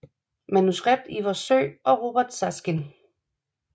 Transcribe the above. Manuskript Ivar Søe og Robert Saaskin